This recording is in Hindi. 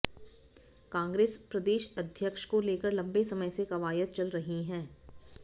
कांग्रेस प्रदेश अध्यक्ष को लेकर लंबे समय से कवायद चल रही है